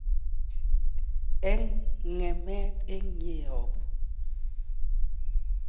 En ng'emet en yeeyobu.